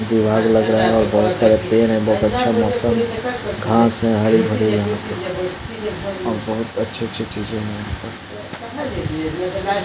दीवार लग रहा है और बहुत सारा पेड़ है बहुत अच्छा मौसम घांस है हरी-भरी यहां पे और बहुत अच्छी-अच्छी चीजें है यहां पर।